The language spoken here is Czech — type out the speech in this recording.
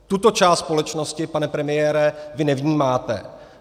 Tuto část společnosti, pane premiére, vy nevnímáte.